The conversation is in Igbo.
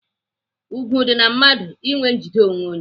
Ùgwù dị na mmadụ inwe njide onwe.